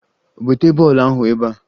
Bute bọọlụ ahụ ebea!